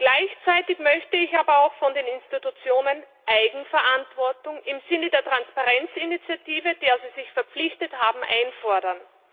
Gleichzeitig möchte ich aber auch von den Institutionen Eigenverantwortung im Sinne der Transparenzinitiative, der sie sich verpflichtet haben, einfordern.